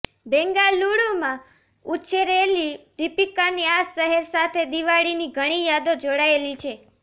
બેંગાલુરુમાં ઉછરેલી દીપિકાની આ શહેર સાથે દિવાળીની ઘણી યાદો જોડાયેલી છે